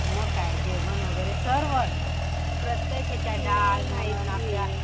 मग काय जेवण वगैरे सर्व प्रत्येक याच्यात डाळ आपल्या